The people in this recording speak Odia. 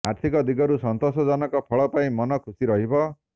ଆର୍ଥିକ ଦିଗରୁ ସନ୍ତୋଷଜନକ ଫଳ ପାଇ ମନ ଖୁସୀ ରହିବ